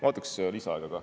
Ma võtaks lisaaega ka.